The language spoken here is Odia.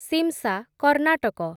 ଶିମ୍‌ଶା, କର୍ଣ୍ଣାଟକ